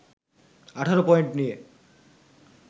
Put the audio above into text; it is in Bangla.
১৮ পয়েন্ট নিয়ে